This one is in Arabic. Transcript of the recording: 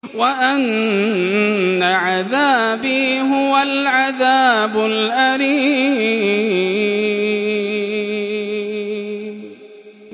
وَأَنَّ عَذَابِي هُوَ الْعَذَابُ الْأَلِيمُ